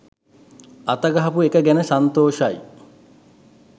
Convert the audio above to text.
අතගහපු එක ගැන සන්තෝෂයි.